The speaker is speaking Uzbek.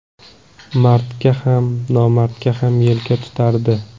Mardga ham, nomardga ham yelka tutardi.